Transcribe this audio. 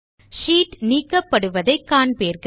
sheet நீக்கப்படுவதை காண்பீர்கள்